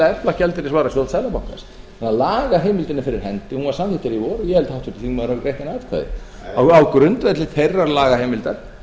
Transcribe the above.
efla gjaldeyrisvarasjóð seðlabankans lagaheimildin er fyrir hendi hún var samþykkt hér í vor og ég held að háttvirtur þingmaður hafi greitt henni atkvæði á grundvelli þeirrar lagaheimildar